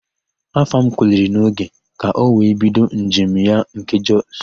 Afam kuliri n'oge ka ọ wee bido njem ya nke Jọs.